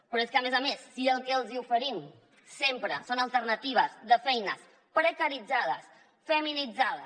però és que a més a més si el que els hi oferim sempre són alternatives de feines precaritzades feminitzades